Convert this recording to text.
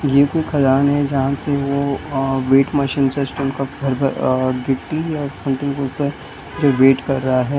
ये कू खदान है जहाँ से वो अ वेट मशीन सच स्टोन का भर भर अ गिट्टी अ सम्थिंग पूछता है ये वेट कर रहा है।